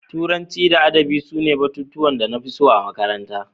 Turanci da Adabi sune batutuwan da na fi so a makaranta.